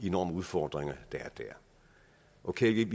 enorme udfordringer der okay vi er